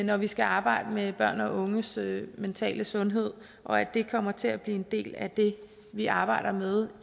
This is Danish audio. når vi skal arbejde med børn og unges mentale sundhed og at det kommer til at blive en del af det vi arbejder med